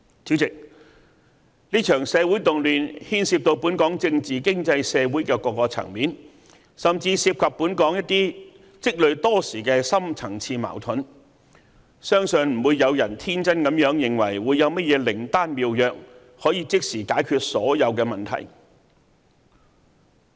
主席，這場社會動亂牽涉到本港政治、經濟、社會的各個層面，甚至涉及本港一些積累多時的深層次矛盾，相信不會有人天真地認為會有甚麼靈丹妙藥，可以即時解決所有問題。